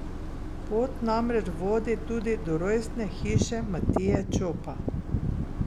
Pot namreč vodi tudi do rojstne hiše Matije Čopa.